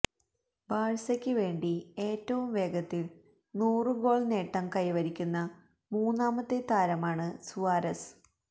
ബാഴ്സക്ക് വേണ്ടി ഏറ്റവും വേഗത്തില് നൂറ് ഗോള് നേട്ടം കൈവരിക്കുന്ന മൂന്നാമത്തെ താരമാണ് സുവാരസ്